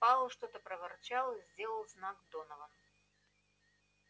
пауэлл что-то проворчал и сделал знак донован